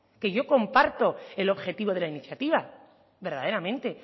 y yo comparto el objetivo de la iniciativa verdaderamente